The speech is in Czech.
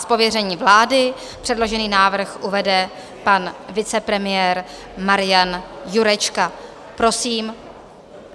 Z pověření vlády předložený návrh uvede pan vicepremiér Marian Jurečka, prosím.